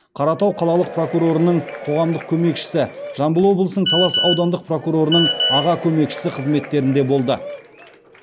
қаратау қалалық прокурорының қоғамдық көмекшісі жамбыл облысының талас аудандық прокурорының аға көмекшісі қызметтерінде болды